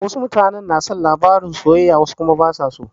Wasu mutane na son labarin soyayya wasu kuma basa so.